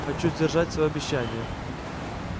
хочу сдержать своё обещание